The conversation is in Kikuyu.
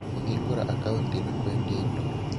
Kũhingũra akaunti na kwendia indo.